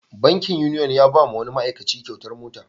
Bankin Union ya ba wa wani ma'aikaci kyautar mota.